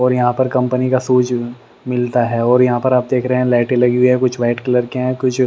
और यहाँ पर कंपनी का शूज मिलता है और यहाँ पर आप देख रहे हैं लाइटे लगी है कुछ वाइट कलर की हैं कुछ --